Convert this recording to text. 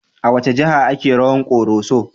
A wace jiha ake rawan Koroso?